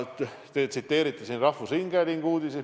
Te tsiteerisite siin rahvusringhäälingu uudiseid.